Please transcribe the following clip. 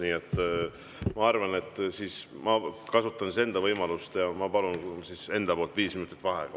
Nii et ma arvan, et ma kasutan võimalust ja palun enda poolt viis minutit vaheaega.